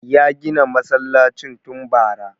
Ya gina masallacin tun bara